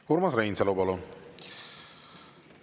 Urmas Reinsalu, palun!